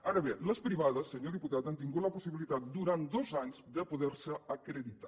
ara bé les privades senyor diputat han tingut la possibilitat durant dos anys de poder se acreditar